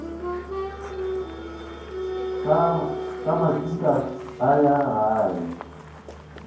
ka maswika a ya gae